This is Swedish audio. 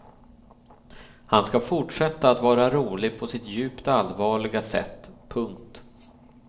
Han ska fortsätta att vara rolig på sitt djupt allvarliga sätt. punkt